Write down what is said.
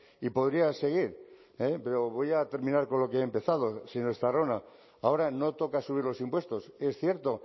y podría seguir pero voy a terminar con lo que he empezado señor estarrona ahora no toca subir los impuestos es cierto